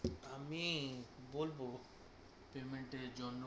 আমি বলবো payment এর জন্য